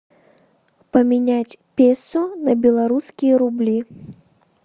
поменять песо на белорусские рубли